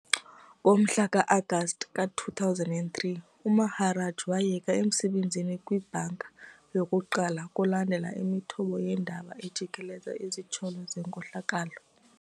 Ngomhla ka-Agasti ka-2003 uMaharaj wayeka emsebenzini kwi-ibhanki yokuqala kulandela imithombo yeendaba ejikeleze izityholo zenkohlakalo.